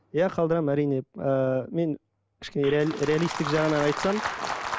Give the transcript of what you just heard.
иә қалдырамын әрине ыыы мен кішкене реалисттік жағынан айтсам